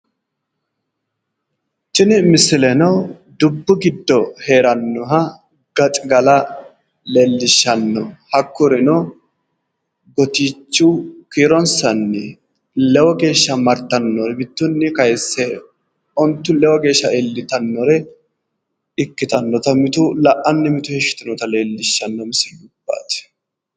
Tini misileno dubbu giddo heerannoha gaxigala leellishshanno. Hakkurino gotiiichu kiironsanni lewu geeshsha martanno. Mittunni kayisse ontu lewu geeshsha iillitannore ikkitannota mitu la'anni mitu heeshshi yitinnota leellishshanno misilubbaati.